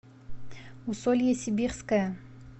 усолье сибирское